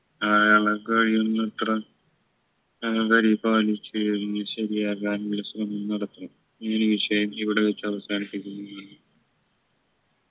അയാള കഴിയുന്നത്ര ഏർ പരിപാലിച്ച് എല്ലും ശരിയാകാനുള്ള ശ്രമം നടത്തണം ഈ ഒരു വിഷയം ഇവിടെ വെച്ച് അവസാനിപ്പിക്കുന്നു നന്ദി